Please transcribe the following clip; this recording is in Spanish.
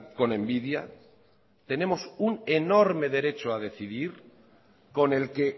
con envidia tenemos un enorme derecho a decidir con el que